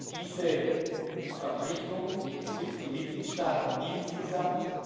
Diese Verpflichtung betrifft die Mitgliedstaaten insgesamt.